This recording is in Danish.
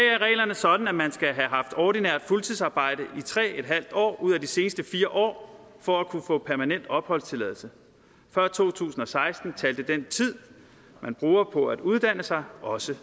sådan at man skal have haft ordinært fuldtidsarbejde i tre en halv år ud af de seneste fire år for at kunne få permanent opholdstilladelse før to tusind og seksten talte den tid man bruger på at uddanne sig også